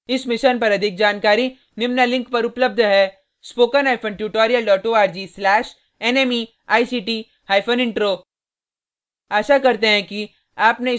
इस mission पर अधिक जानकारी निम्न लिंक पर उपलब्ध है